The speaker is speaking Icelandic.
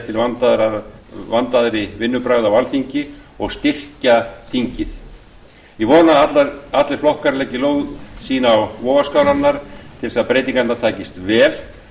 til vandaðri vinnubragða á alþingi og styrkja þingið ég vona að allir flokkar leggi lóð sín á vogarskálarnar til þess að breytingarnar takist vel